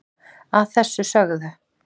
að þessu sögðu